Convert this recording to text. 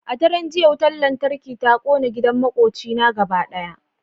A daren jiya wutar lantarki ta kona gidan makwabcina gaba daya